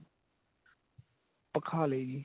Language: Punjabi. ਭਖਾ ਲਏ ਜੀ